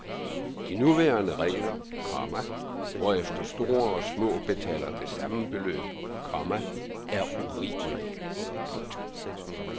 De nuværende regler, komma hvorefter store og små betaler det samme beløb, komma er urimelige. punktum